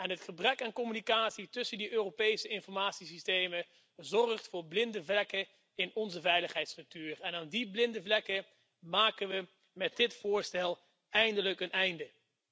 Het gebrek aan communicatie tussen die Europese informatiesystemen zorgt voor blinde vlekken in onze veiligheidsstructuur, en aan die blinde vlekken maken we met dit voorstel eindelijk een einde.